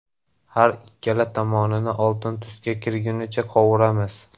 Har ikkala tomonini oltin tusga kirgunicha qovuramiz.